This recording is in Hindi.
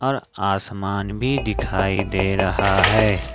और आसमान भी दिखाई दे रहा है।